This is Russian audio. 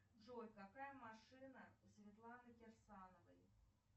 джой какая машина у светланы кирсановой